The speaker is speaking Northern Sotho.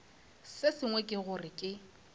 se sengwe ke gore ke